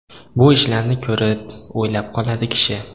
Bu ishlarni ko‘rib, o‘ylab qoladi kishi.